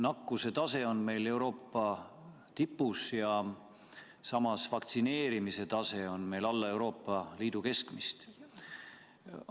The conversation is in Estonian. Nakkuse tase on meil Euroopa tipus ja samas vaktsineerimise tase on meil alla Euroopa Liidu keskmist.